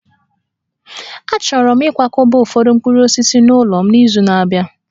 Achọrọ m ịkwakọba ụfọdụ mkpụrụ osisi n'ụlọ m n'izu na-abịa